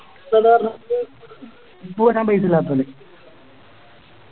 Book വാങ്ങാൻ പൈസയില്ലാത്തോന്